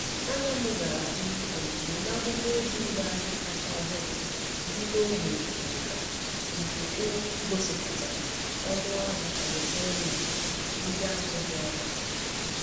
Anya m gara um ozugbo n'akwụkwọ ozi ireahịa kacha ọhụrụ dị n'ogbe ndịda nke um gosipụtara ọnụ ahịa eletrọnịkị ndị ahụ dị ọnụ ala.